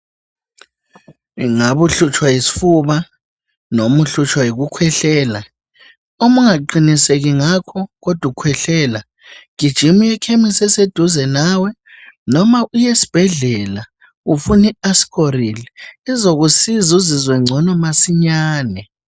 Ingabe uhlutshwa yisifuba noba uhlutshwa yikukhwehlela uma ungaqiniseki ngakho kodwa ukhwehlela, gijima uyekhemisi eseduze nawe noma uyesibhedlela ufune iaskorili izokusiza uzizwe ngcono masinyane.